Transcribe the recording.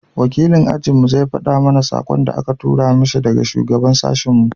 wakilin ajin mu zai fada mana sakon da a ka tura mishi daga shugaban sashin mu